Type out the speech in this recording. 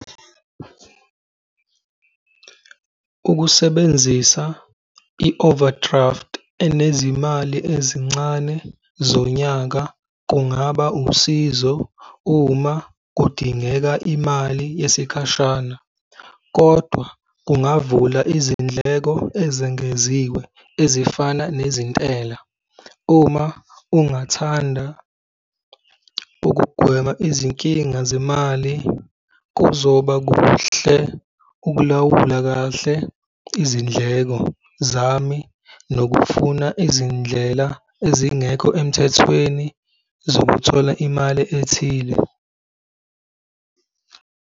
Ukusebenzisa i-overdraft enezimali ezincane zonyaka kungaba usizo uma kudingeka imali yesikhashana, kodwa kungavula izindleko ezengeziwe ezifana nezentela. Uma ungathanda ukugwema izinkinga zemali, kuzoba kuhle ukulawula kahle izindleko zami nokufuna izindlela ezingekho emthethweni zokuthola imali ethile.